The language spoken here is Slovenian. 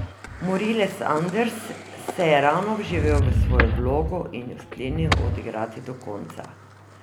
Morilec Anders se je ravno vživel v svojo vlogo in jo sklenil odigrati do konca.